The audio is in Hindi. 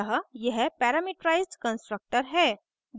अतः यह parameterized constructor है